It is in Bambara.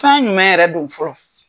Fɛn jumɛn yɛrɛ do fɔlɔ.